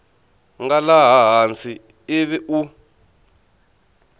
nga laha hansi ivi u